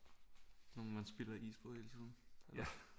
Sådan nogle man spilder is på hele tiden